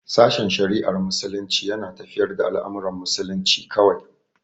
Sashen shari'ar Muslunci yana tafiyar da al'amuran musulunci kawai.